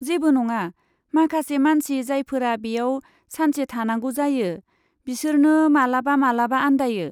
जेबो नङा, माखासे मानसि जायफोरा बेयाव सानसे थानांगौ जायो बिसोरनो मालाबा मालाबा आनदायो।